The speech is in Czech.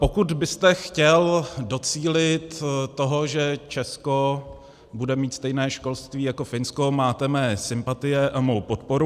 Pokud byste chtěl docílit toho, že Česko bude mít stejné školství jako Finsko, máte moje sympatie a mou podporu.